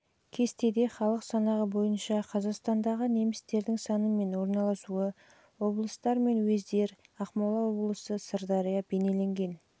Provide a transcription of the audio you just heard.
кесте жылғы халық санағы бойынша қазақстандағы немістердің саны мен орналасуы облыстар мен уездер ақмола облысы сырдария